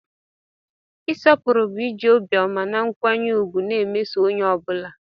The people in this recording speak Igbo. Ịsọpụrụ bụ iji obiọma na nkwanye ùgwù na-emeso onye ọ bụla.